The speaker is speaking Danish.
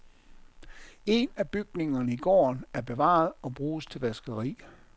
En af bygningerne i gården er bevaret og bruges til vaskeri.